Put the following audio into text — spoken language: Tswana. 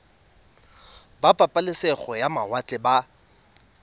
ba pabalesego ya mawatle ba